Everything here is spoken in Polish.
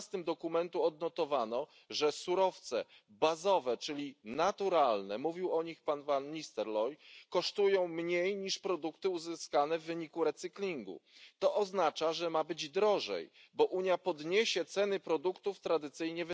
12. dokumentu odnotowano, że surowce bazowe, czyli naturalne mówił o nich pan van Nistelrooij kosztują mniej niż produkty uzyskane w wyniku recyklingu. To oznacza, że ma być drożej, bo Unia podniesie ceny produktów wytwarzanych tradycyjnie.